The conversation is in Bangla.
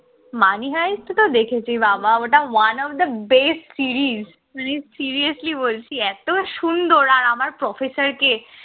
money হায় তো দেখেছি বাবা ওটা one of the best series seriously বলছি এত সুন্দর আর আমার professor কে